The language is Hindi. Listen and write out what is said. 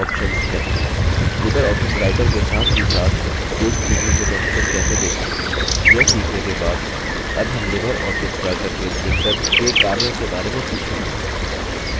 लिबर ऑफिस writer के साथ ही साथ पेज प्रिव्यू में documents कैसे देखें यह सीखने के बाद अब हम लिबर ऑफिस writer में printer के कार्यों के बारे में सीखेंगे